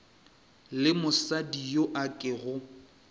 le mosadi yo a kego